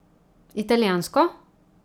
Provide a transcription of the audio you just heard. Italijansko?